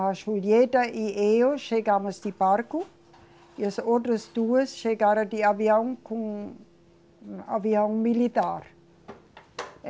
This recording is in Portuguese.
A Julieta e eu chegamos de barco, e as outras duas chegaram de avião com, avião militar.